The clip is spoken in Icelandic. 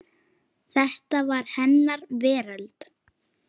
Þetta var hennar veröld.